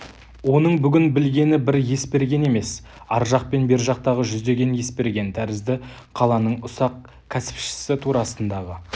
оның бүгін білгені бір есберген емес ар жақ пен бер жақтағы жүздеген есберген тәрізді қаланың ұсақ кәсіпшісі турасындағы